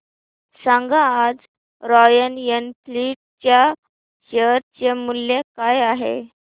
सांगा आज Royal Enfield च्या शेअर चे मूल्य काय आहे